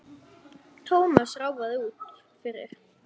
Thomas ráfaði út fyrir.